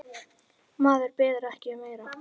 Maður biður ekki um meira.